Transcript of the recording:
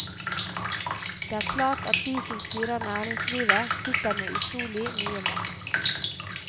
Det er klart at de som styrer næringslivet sitter med utrolig mye makt.